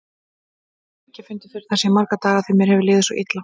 Ég hef ekki fundið fyrir þessu í marga daga því mér hefur liðið svo illa.